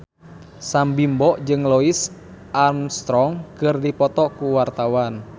Sam Bimbo jeung Louis Armstrong keur dipoto ku wartawan